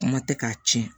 Kuma tɛ k'a tiɲɛ